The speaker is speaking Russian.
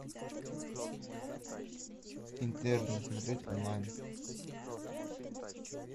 интерны смотреть онлайн